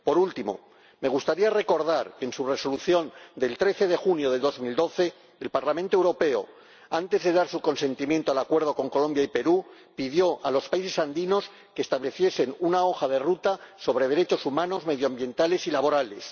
Por último, me gustaría recordar que, en su Resolución de 13 de junio de 2012, el Parlamento Europeo, antes de dar su aprobación al Acuerdo con Colombia y Perú, pidió a los países andinos que estableciesen una hoja de ruta sobre derechos humanos, medioambientales y laborales.